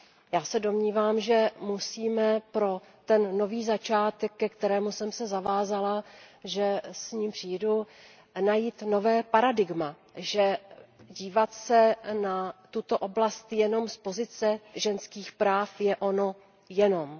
Já se domnívám, že musíme pro ten nový začátek, ke kterému jsem se zavázala, že s ním přijdu, najít nové paradigma, že dívat se na tuto oblast jenom z pozice ženských práv, je ono jenom.